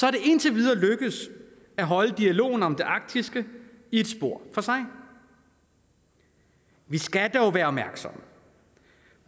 er det indtil videre lykkedes at holde dialogen om det arktiske i et spor for sig vi skal dog være opmærksomme